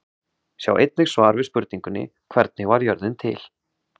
Sjá einnig svar við spurningunni: Hvernig varð jörðin til?